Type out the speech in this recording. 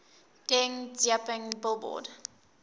deng xiaoping billboard